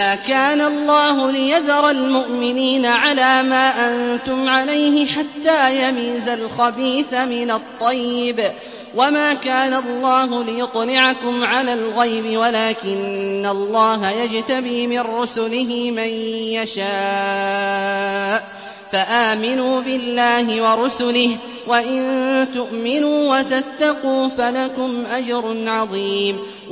مَّا كَانَ اللَّهُ لِيَذَرَ الْمُؤْمِنِينَ عَلَىٰ مَا أَنتُمْ عَلَيْهِ حَتَّىٰ يَمِيزَ الْخَبِيثَ مِنَ الطَّيِّبِ ۗ وَمَا كَانَ اللَّهُ لِيُطْلِعَكُمْ عَلَى الْغَيْبِ وَلَٰكِنَّ اللَّهَ يَجْتَبِي مِن رُّسُلِهِ مَن يَشَاءُ ۖ فَآمِنُوا بِاللَّهِ وَرُسُلِهِ ۚ وَإِن تُؤْمِنُوا وَتَتَّقُوا فَلَكُمْ أَجْرٌ عَظِيمٌ